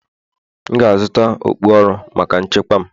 M ga-azụta okpu ọrụ maka nchekwa m